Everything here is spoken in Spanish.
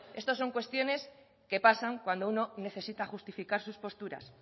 esto son cuestiones que pasan cuando uno necesita justificar sus posturas